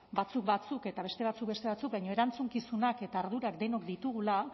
batzuk batzuk eta beste batzuk beste batzuk baina erantzukizunak eta ardurak denok ditugula